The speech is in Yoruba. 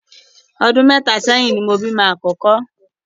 Ọdún mẹ́ta ṣéyìn ni mo bímọ àkọ́kọ́.